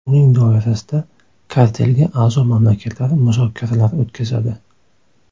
Uning doirasida kartelga a’zo mamlakatlar muzokaralar o‘tkazadi.